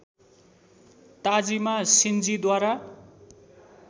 Tajima सिन्जीद्वारा